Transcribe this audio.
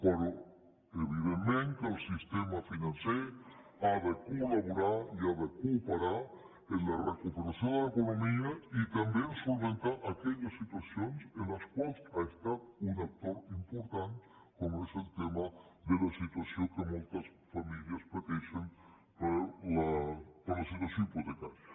però evidentment que el sistema financer ha de col·laborar i ha de cooperar en la recuperació de l’economia i també a resoldre aquelles situacions en les quals ha estat un actor important com és el tema de la situació que moltes famílies pateixen per la situació hipotecària